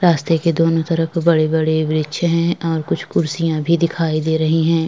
रास्ते के दोनों तरफ बड़े-बड़े वृक्ष हैं और कुछ कुर्सियां भी दिखाई दे रही हैं ।